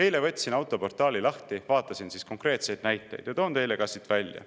Eile võtsin autoportaali lahti, vaatasin konkreetseid näiteid ja toon neid teile ka siit välja.